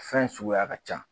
Fɛn suguya ka ca